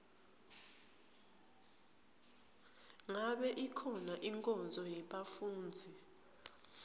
ngabe ikhona inkonzo yebafundzi